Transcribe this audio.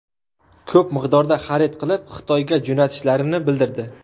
Ko‘p miqdorda xarid qilib, Xitoyga jo‘natishlarini bildirdi.